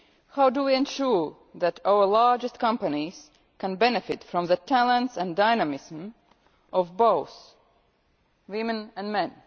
How do we ensure that our largest companies can benefit from the talents and dynamism of both women and men?